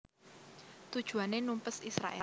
Tujuané numpes Israèl